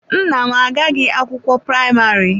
Nna m agaghị akwụkwọ praịmarị.